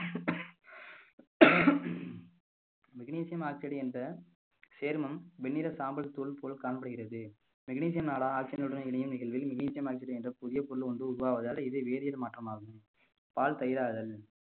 magnesium oxide என்ற சேர்மம் வெண்ணிற சாம்பல் தூள் போல் காணப்படுகிறது magnesium நாடா oxygen னுடன் இணையும் நிகழ்வில் magnesium oxide என்ற புதிய பொருள் ஒன்று உருவாவதால் இது வேதியல் மாற்றமாகும் பால் தயிராதல்